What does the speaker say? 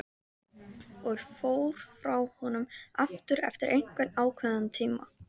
Og fór frá honum aftur eftir einhvern ákveðinn tíma.